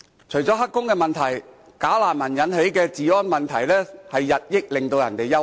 除了"黑工"問題，"假難民"引起的治安問題，日益令人憂慮。